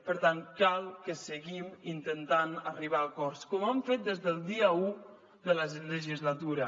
per tant cal que seguim intentant arribar a acords com hem fet des del dia u de la legislatura